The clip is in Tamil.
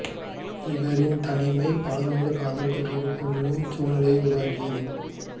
இவரின் தனிமை பலரோடு காதல் தொடர்பு கொள்ளும் சூழ்நிலையை உருவாக்கியது